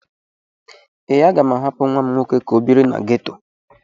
Ee, M ga-ahapụ nwa m nwoke ka ọ biri na geto.